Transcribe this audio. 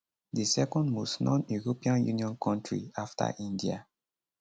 di second most noneuropean union kontri afta india